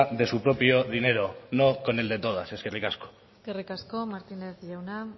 de su propio dinero no con el de todas eskerrik asko eskerrik asko martínez jauna